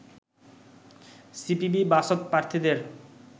সিপিবি-বাসদ প্রার্থীদের